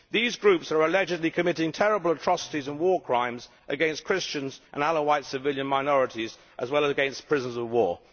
These groups are allegedly committing terrible atrocities and war crimes against Christians and other Alawite civilian minorities, as well as against prisoners of war.